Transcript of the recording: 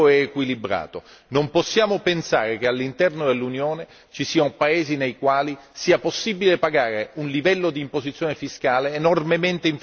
Non possiamo pensare che all'interno dell'Unione ci siano paesi nei quali sia possibile pagare un livello di imposizione fiscale enormemente inferiore rispetto ad altri